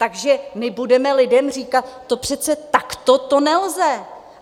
Takže my budeme lidem říkat: to přece takto to nelze!